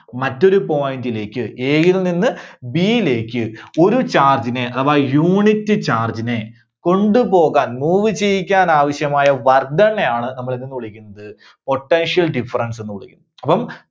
മറ്റൊരു point ലേക്ക് A യിൽ നിന്ന് B യിലേക്ക് ഒരു charge നെ അഥവാ unit charge നെ കൊണ്ടുപോകാൻ, move ചെയ്യിക്കാൻ ആവശ്യമായ work done നെയാണ് നമ്മൾ എന്തെന്ന് വിളിക്കുന്നത്, potential difference ന്ന് വിളിക്കുന്നത്. അപ്പം